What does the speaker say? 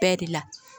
Bɛɛ de la